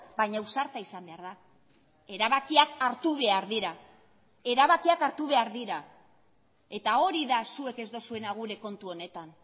baina ausarta izan behar da erabakiak hartu behar dira erabakiak hartu behar dira eta hori da zuek ez duzuena gure kontu honetan